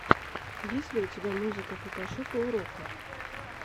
есть ли у тебя музыка фотошопа уроков